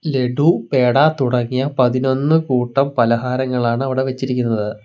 ലഡു പേട തുടങ്ങിയ പതിനൊന്ന് കൂട്ടം പലഹാരങ്ങളാണ് അവിടെ വെച്ചിരിക്കുന്നത്.